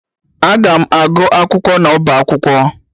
Aga m agụ akwụkwọ n'ọba akwụkwọ